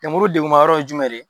Lemuru degunma ye jumɛn ye ?